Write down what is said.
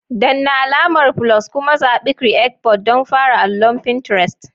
Danna alamar "+" kuma zaɓi "Create Board" don fara allon Pinterest.